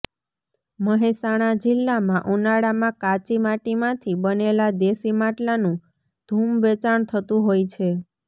મહેસાણા જિલ્લામાં ઉનાળામાં કાચી માટીમાંથી બનેલા દેશી માટલાંનુ ધૂમ વેચાણ થતું હોય છે